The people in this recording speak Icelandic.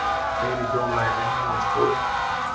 Fleiri hjóla í vinnu og skóla